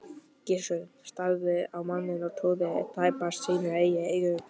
Gizur starði á manninn og trúði tæpast sínum eigin eyrum.